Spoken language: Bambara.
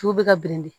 Tu bɛ ka bilen de